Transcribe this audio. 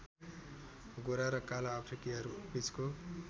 गोरा र काला अफ्रिकीहरु बीचको